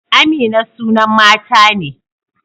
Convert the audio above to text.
Amina sunan mata ne.